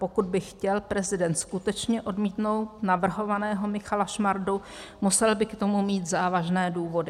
Pokud by chtěl prezident skutečně odmítnout navrhovaného Michala Šmardu, musel by k tomu mít závažné důvody.